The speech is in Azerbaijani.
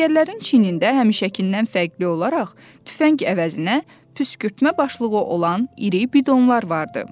Əsgərlərin çiynində həmişəkindən fərqli olaraq tüfəng əvəzinə püskürtmə başlıqı olan iri bidonlar vardı.